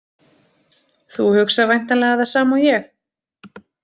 Þú hugsar væntanlega það sama og ég.